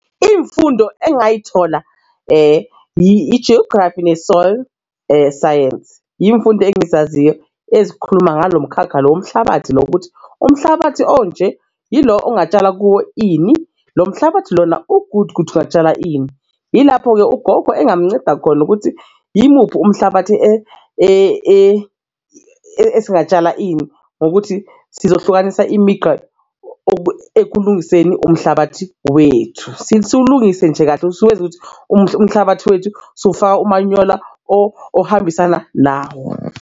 Iy'mfundo engingayithola i-Geography ne-Soil Science, imfundo engizaziyo ezikhuluma ngalo mkhakha lo womhlabathi lo ukuthi umhlabathi onje yilo ongatshala kuwo ini lo mhlabathi lona u-good ukuthi ungatshala ini. Yilapho-ke ugogo engamnceda khona ukuthi imuphi umhlabathi esingatshala ini ngokuthi sizohlukanisa imigqa ekulungiseni umhlabathi wethu, siwulungise nje kahle usuwenza ukuthi umhlabathi wethu suwufaka umanyola ohambisana nawo.